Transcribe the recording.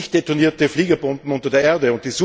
700 nicht detonierte Fliegerbomben unter der Erde.